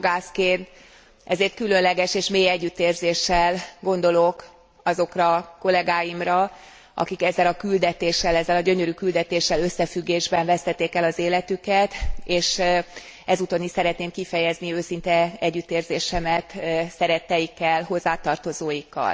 Jogászként ezért különleges és mély együttérzéssel gondolok azokra a kollegáimra, akik ezzel a küldetéssel, ezzel a gyönyörű küldetéssel összefüggésben vesztették el az életüket, és ezúton is szeretném kifejezni őszinte együttérzésemet szeretteikkel, hozzátartozóikkal.